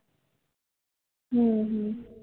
હમ